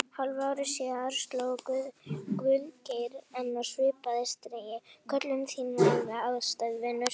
Hálfu ári síðar sló Guðgeir enn á svipaða strengi: Köllun þín er alveg einstæð, vinur.